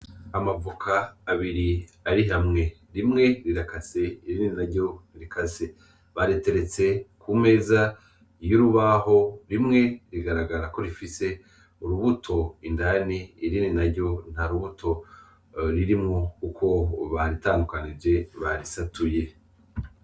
Amavoka abiri ari hamwe ,rimwe rirakase, irindi naryo ntirikase bariteretse k'umeza y'urubaho, rimwe rigaragara ko rifise urubuto indani ,irindi naryo ntarubuto ririmwo kuko baritandukanije barisatuye.